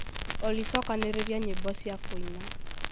olly cokanĩrĩria nyimbo cia kuina